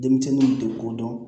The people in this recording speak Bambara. Denmisɛnninw tɛ ko dɔn